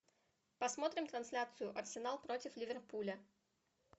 посмотрим трансляцию арсенал против ливерпуля